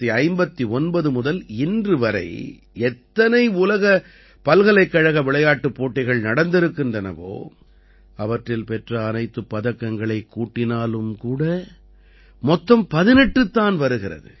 1959 முதல் இன்று வரை எத்தனை உலக பல்கலைக்கழக விளையாட்டுப் போட்டிகள் நடந்திருக்கின்றனவோ அவற்றில் பெற்ற அனைத்துப் பதக்கங்களைக் கூட்டினாலும் கூட மொத்தம் 18 தான் வருகிறது